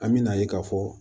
An bɛna ye k'a fɔ